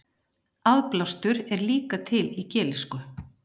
aðblástur er líka til í gelísku